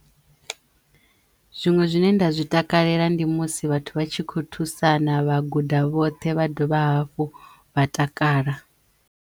Zwiṅwe zwine nda zwi takalela ndi musi vhathu vha tshi kho thusana vha guda vhoṱhe vha dovha hafhu vha takala.